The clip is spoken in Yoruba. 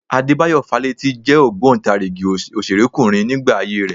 Adébáyọ̀ Fálétí jẹ́ ògbóǹtarigì òṣèrékùnrin nígbà ayé rẹ